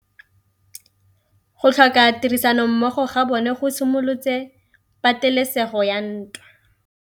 Go tlhoka tirsanommogo ga bone go simolotse patêlêsêgô ya ntwa.